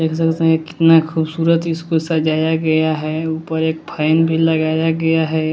कितना खूबसूरत इसको सजाया गया है ऊपर एक फैन भी लगाया गया है।